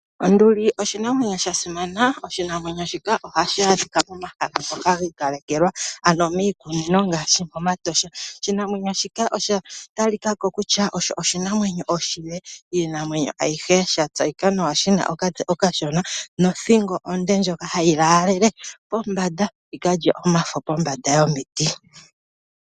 Onduli oshinamwenyo sha simana, oshinamwenyo shika ohashi adhika momahala ngoka giikalekelwa ano miikunino ngaashi momatosha. Oshinamwenyo shika osha tali ka ko kutya oshinamwenyo oshile kiinamwenyo ayihe sha tseyika nawa shina okatse okashona nothingo onde ndjoka hayi laalele pombanda yikalye omafo pombanda yomiti.